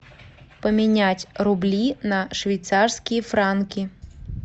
поменять рубли на швейцарские франки